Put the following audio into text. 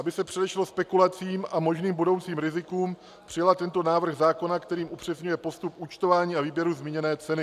Aby se předešlo spekulacím a možným budoucím rizikům, přijala tento návrh zákona, který upřesňuje postup účtování a výběru zmíněné ceny.